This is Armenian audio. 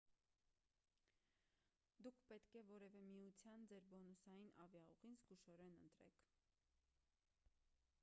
դուք պետք է որևէ միության ձեր բոնուսային ավիաուղին զգուշորեն ընտրեք